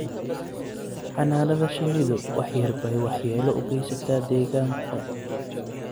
Xannaanada shinnidu wax yar bay waxyeelo u geysataa deegaanka.